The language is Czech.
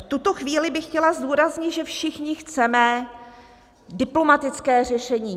V tuto chvíli bych chtěla zdůraznit, že všichni chceme diplomatické řešení.